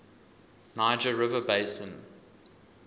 niger river basin